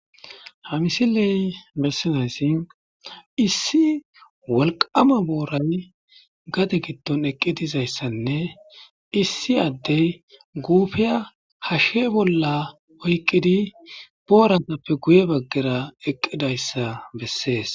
Ha misiley mersinayssi issi wolqama booran gate gidton eqqi dizayssanne issi addey guufiya hashshe bolla oyqqidi boorantappe guye baggera eqqidayssa bessees.